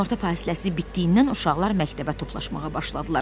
Günorta fasiləsi bitdiyindən uşaqlar məktəbə toplaşmağa başladılar.